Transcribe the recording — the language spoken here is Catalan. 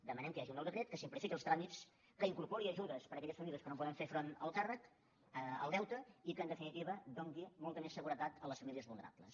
demanem que hi hagi un nou decret que simplifiqui els tràmits que incorpori ajudes per a aquelles famílies que no poden fer front al deute i que en definitiva doni molta més seguretat a les famílies vulnerables